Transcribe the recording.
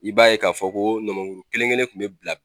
I b'a ye k'a fɔ ko nɔmɔkuru kelenkelen kun bɛ bila